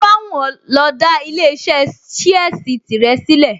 To bá wù ẹ́ lọ dá ilé-iṣẹ́ ṣíẹ́sì tìrẹ sílẹ̀